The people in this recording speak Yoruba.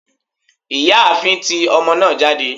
ìyáàfín, tí omo naa jade